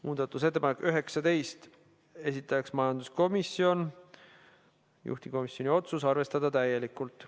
Muudatusettepanek nr 19, esitajaks majanduskomisjon, juhtivkomisjoni otsus: arvestada täielikult.